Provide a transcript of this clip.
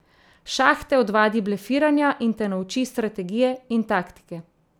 Šah te odvadi blefiranja in te nauči strategije in taktike.